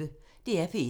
DR P1